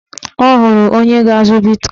Ọ hụrụ onye ga-azụ bitkọin